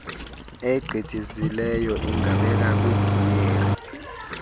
egqithisileyo ingabekwa kwigiyeri